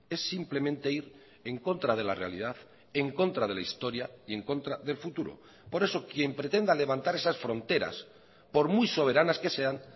es simplemente ir en contra de la realidad en contra de la historia y en contra del futuro por eso quien pretenda levantar esas fronteras por muy soberanas que sean